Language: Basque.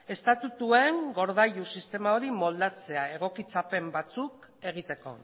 estatutuen gordailu sistema moldatzea egokitzapen batzuk egiteko